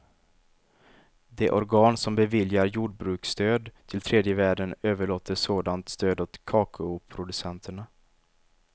De organ som beviljar jordbruksstöd till tredje världen överlåter sådant stöd åt kakaoproducenterna.